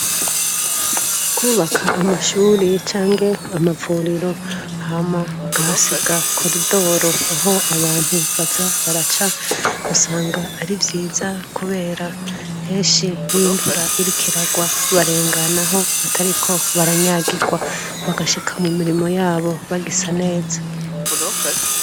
Kwubaka amashure canke amavuriro hama bakahasiga koridoro aho abantu baza baraca, usanga ari vyiza kubera henshi iyo imvura iriko iragwa barenganaho batariko baranyagirwa ,bagashika mu mirimo yabo bagisa neza.